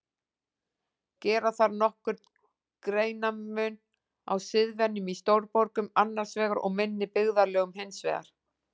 Gera þarf nokkurn greinarmun á siðvenjum í stórborgum annars vegar og minni byggðarlögum hins vegar.